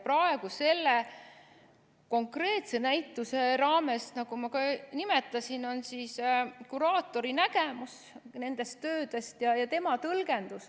Praegu selle konkreetse näituse raames, nagu ma ka nimetasin, on see kuraatori nägemus nendest töödest ja tema tõlgendus.